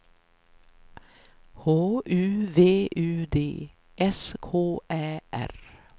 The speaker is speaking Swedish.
H U V U D S K Ä R